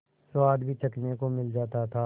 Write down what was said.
स्वाद भी चखने को मिल जाता था